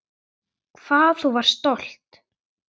Hvað þú varst stolt.